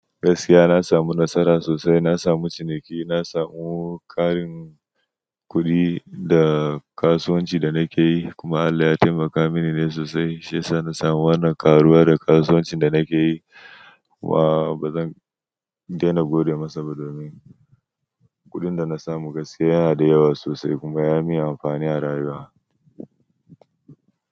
Gaskiya na samu nasara sosai, na samu ciniki, na samu ƙarin kuɗi da kasuwancin da nake yi kuma Allah ya taimaka mini ne sosai shiyasa na samu wannan karuwa daga kasuwancin da nake yi. Wa bazan daina godiya masa ba domin ƙudin da na samu gaskiya yana da yawa sosai kuma ya min amfani a rayuwa.